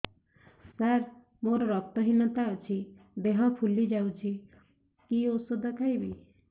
ସାର ମୋର ରକ୍ତ ହିନତା ଅଛି ଦେହ ଫୁଲି ଯାଉଛି କି ଓଷଦ ଖାଇବି